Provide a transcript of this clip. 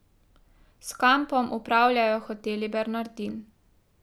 S kampom upravljajo Hoteli Bernardin.